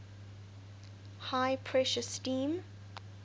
high pressure steam